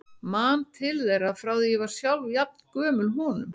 Man til þeirra frá því ég var sjálf jafn gömul honum.